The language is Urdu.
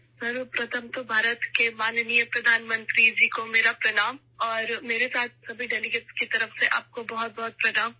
سب سے پہلے، بھارت کے معزز وزیر اعظم کو میرا سلام اور میرے ساتھ تمام مندوبین کی طرف سے آپ کو بہت بہت سلام